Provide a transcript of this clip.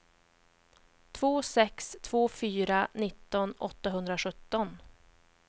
två sex två fyra nitton åttahundrasjutton